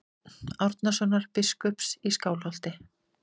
Árnasonar biskups í Skálholti.